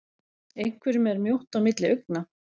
Einhverjum er mjótt á milli augna